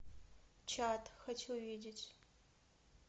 чат хочу увидеть